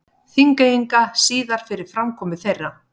Þingeyinga síðar fyrir framkomu þeirra.